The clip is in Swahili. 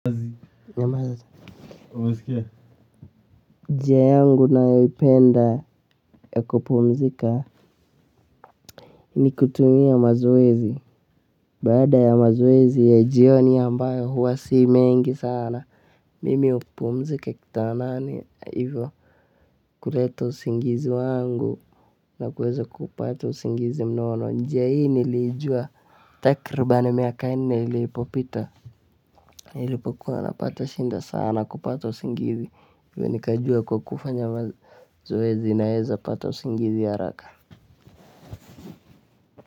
"Nyamaza, umesikia" njia yangu nayoipenda ya kupumzika ni kutumia mazoezi baada ya mazoezi ya jioni ambayo huwa si mengi sana mimi hupumzika kitandani kuleta usingizi wangu na kuweza kupata usingizi mnono njia hii nilijua takribani miaka nne ilipopita nilipokuwa napata shida sana kupata usingizi ndo nikajua kwa kufanya mazoezi naweza pata usingizi haraka.